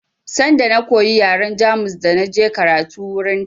Sanda na koyi yaren Jamus da je karatu a wurin